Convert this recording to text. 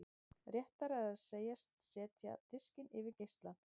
Réttara er að segjast setja diskinn yfir geislann.